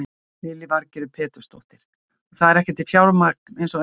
Lillý Valgerður Pétursdóttir: Og það er ekki til fjármagn eins og er?